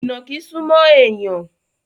Ìnàkí súmọ́ èèyàn